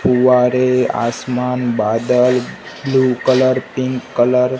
फुंवारे आसमान बादल blue colour pink colour --